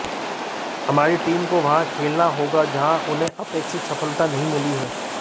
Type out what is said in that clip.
हमारी टीम को वहां खेलना होगा जहां उन्हें अपेक्षित सफलता नहीं मिली है